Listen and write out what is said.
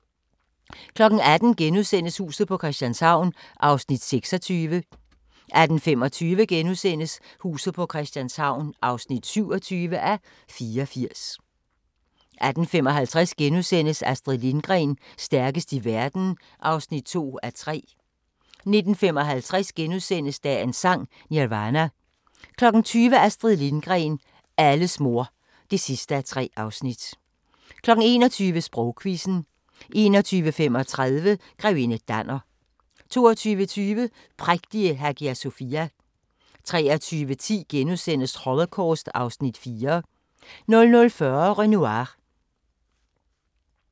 18:00: Huset på Christianshavn (26:84)* 18:25: Huset på Christianshavn (27:84)* 18:55: Astrid Lindgren – stærkest i verden (2:3)* 19:55: Dagens Sang: Nirvana * 20:00: Astrid Lindgren – alles mor (3:3) 21:00: Sprogquizzen 21:35: Grevinde Danner 22:20: Prægtige Hagia Sofia 23:10: Holocaust (Afs. 4)* 00:40: Renoir